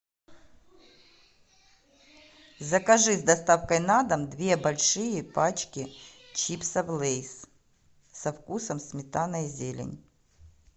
закажи с доставкой на дом две большие пачки чипсов лейс со вкусом сметана и зелень